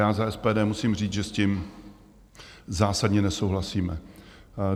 Já za SPD musím říct, že s tím zásadně nesouhlasíme.